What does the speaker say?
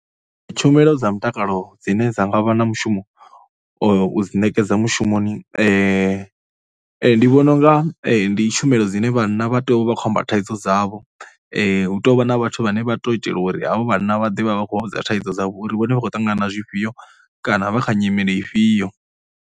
Tshumelo dza mutakalo dzine dza nga vha na mushumo u dzi ṋekedza mushumoni ndi vhona u nga ndi tshumelo dzine vhanna vha tea u vha vha khou amba thaidzo dzavho. Hu tou vha na vhathu vhane vha tou u itela uri havha vhanna vha ḓe vha vhe vha khou vha vhudza thaidzo dzavho uri vhone vha khou ṱangana na zwifhio kana vha kha nyimele ifhio.